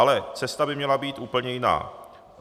Ale cesta by měla být úplně jiná.